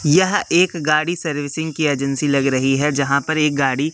यह एक गाड़ी सर्विसिंग की एजेंसी लग रही है जहां पर एक गाड़ी--